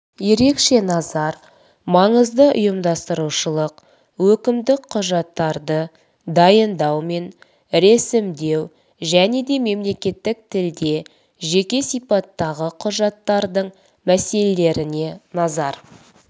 ерекше назар маңызды ұйымдастырушылық өкімдік құжаттарды дайындау мен ресімдеу және де мемлекеттік тілде жеке сипаттағы құжаттардың мәселелеріне назар